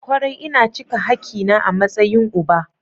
Kwarai, ina cika hakina a matsayin uba.